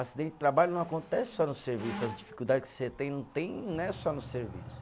Acidente de trabalho não acontece só no serviço, as dificuldade que você tem, não tem, não é só no serviço.